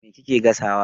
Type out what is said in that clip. Me kike gasawa?